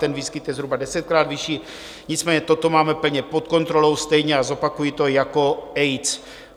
Ten výskyt je zhruba desetkrát vyšší, nicméně toto máme plně pod kontrolou, stejně - a zopakuji to - jako AIDS.